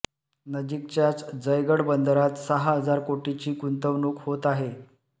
नजीकच्याच जयगड बंदरात सहा हजार कोटीची गुंतवणूक होत आहे